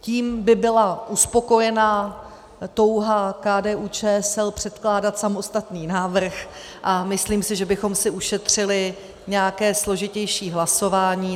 Tím by byla uspokojená touha KDU-ČSL předkládat samostatný návrh a myslím si, že bychom si ušetřili nějaké složitější hlasování.